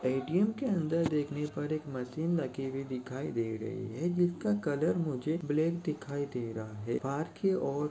ATM के अंदर देखने पे एक मशीन लगी हुई दिखाई दे रही है जिसका कलर मुझे ब्लैक दिखाई दे रहा है बाहर की ओर--